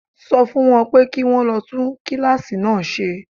Sọ fún wọn pé kí wón lọ tún kíláàsì náà ṣe.